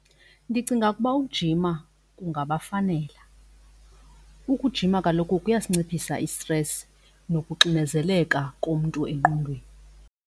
Ndicinga ukuba ukujima kungabafanela. Ukujima kaloku kuyasinciphisa i-stress nokuxinezeleka komntu engqondweni.